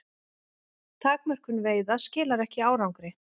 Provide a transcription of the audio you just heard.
Takmörkun veiða skilar ekki árangri